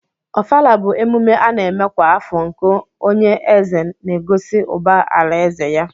ọfala bu emume ana eme kwa afọ nke onye eze n'egosi ụba alaeze ya.